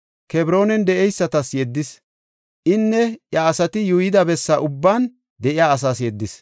Kebroonan de7eysatas yeddis. Inne iya asati yuuyida bessa ubban de7iya asaas yeddis.